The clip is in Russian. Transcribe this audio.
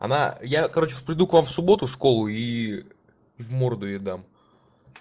она я короче приду к вам в субботу в школу и в морду ей дам